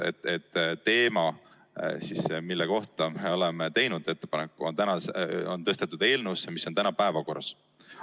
Teema, mille käsitlemise kohta oleme teinud ettepaneku, on tõstetud eelnõusse, mis on täna päevakorras.